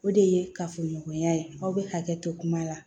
O de ye kafoɲɔgɔnya ye aw bɛ hakɛ to kuma la